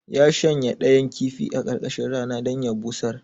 Ya shanya ɗayan kifi a ƙarƙashin rana dan ya busar